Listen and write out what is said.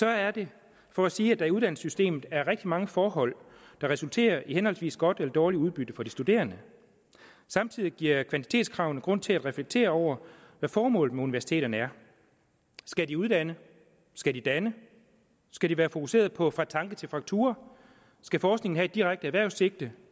er det for at sige at der i uddannelsessystemet er rigtig mange forhold der resulterer i henholdsvis godt og dårligt udbytte for de studerende samtidig giver kvantitetskravene grund til at reflektere over hvad formålet med universiteterne er skal de uddanne skal de danne skal de være fokuseret på fra tanke til faktura skal forskningen have et direkte erhvervssigte